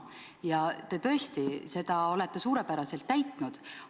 Ja seda rolli te tõesti olete suurepäraselt täitnud.